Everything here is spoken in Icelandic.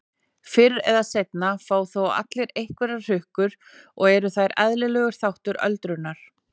Fyrr eða seinna fá þó allir einhverjar hrukkur og eru þær eðlilegur þáttur öldrunar.